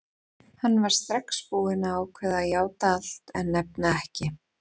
Hann var strax búinn að ákveða að játa allt en nefna ekki